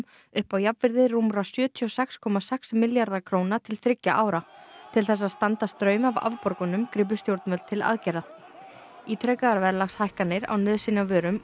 upp á jafnvirði rúmra sjötíu og sex komma sex milljarða króna til þriggja ára til þess að standa straum af afborgunum gripu stjórnvöld til aðgerða ítrekaðar verðlagshækkanir á nauðsynjavörum og